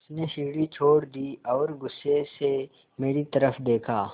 उसने सीढ़ी छोड़ दी और गुस्से से मेरी तरफ़ देखा